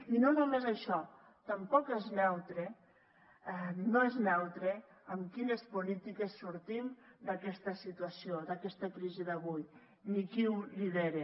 i no només això tampoc és neutre no és neutre amb quines polítiques sortim d’aquesta situació d’aquesta crisi d’avui ni qui ho lidera